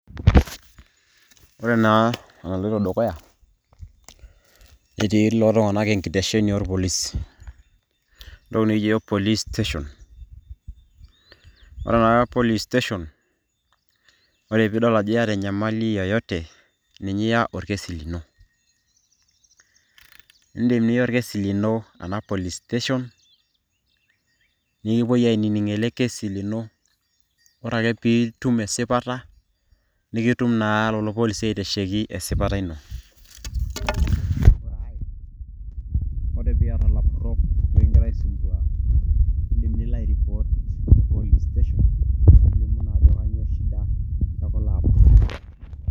Ore naa enaloito dukuya, etii kulo tung'anak enkitesheni orpolisi. Entoki nikijo yiok police station. Ore ena police station ,ore piidol ajo yata enyamali yoyote, ninye iya orkesi lino. Idim niya orkesi lino ena police station ,nikipoi ainining' ele kesi lino. Ore ake pitum esipata, nikitum naa lelo polisi aitasheki esipata ino. Ore piata lapurrok likigira aisumbua, idim nilo airipot te police station nilimu naa ajo kanyioo shida ekulo apurrok.